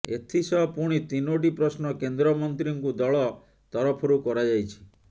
ଏଥିସହ ପୁଣି ତିନୋଟି ପ୍ରଶ୍ନ କେନ୍ଦ୍ରମନ୍ତ୍ରୀଙ୍କୁ ଦଳ ତରଫରୁ କରାଯାଇଛି